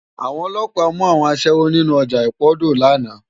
Awòn òlòpá mú áwòn aṣèwó ninú òjá ipódó làná